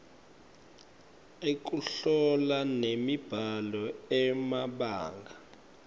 ekuhlola nemibhalo emabanga